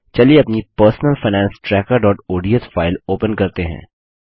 चलिए अपनी personal finance trackerओडीएस फाइल ओपन करते हैं